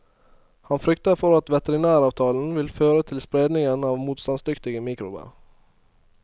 Han frykter for at vetrinæravtalen vil føre til spredning av motstansdyktige mikrober.